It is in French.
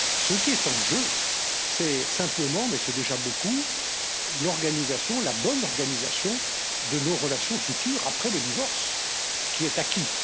Ce qui est en jeu, c'est simplement mais c'est déjà beaucoup l'organisation, la bonne organisation, de nos relations futures après le divorce, qui est acquis.